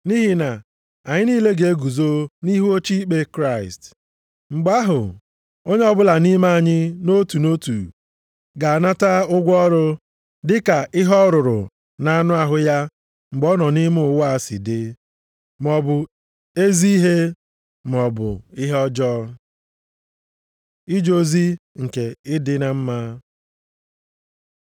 Nʼihi na anyị niile ga-eguzo nʼihu oche ikpe Kraịst, mgbe ahụ onye ọbụla nʼime anyị, nʼotu nʼotu, ga-anata ụgwọ ọrụ dịka ihe ọ rụrụ na-anụ ahụ ya mgbe ọ nọ nʼime ụwa si dị, maọbụ ezi ihe maọbụ ihe ọjọọ. Ije ozi nke ịdị na mma